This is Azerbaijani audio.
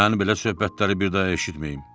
Mən belə söhbətləri bir daha eşitməyim.